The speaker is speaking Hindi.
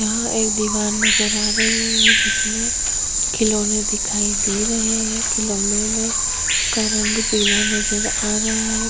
यहाँं एक दीवार नज़र आ रही है जिसमे खिलौने दिखाई दे रहे है खिलौने में का रंग पीला नज़र आ रहा है।